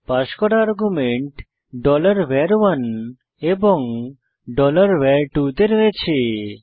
pass করা argument var1 এবং var2 তে রয়েছে